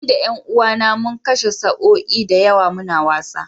Ni da ’yan uwAna mun kwashe sa’o’i da yawa muna wasa